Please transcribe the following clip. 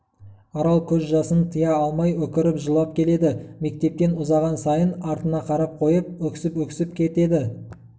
арал көз жасын тыя алмай өкіріп жылап келеді мектептен ұзаған сайын артына қарап қойып өксіп-өксіп кетеді